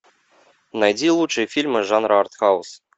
найди лучшие фильмы жанра артхаус